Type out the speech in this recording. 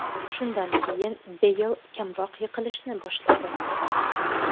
Shundan keyin Beyl kamroq yiqilishni boshladi.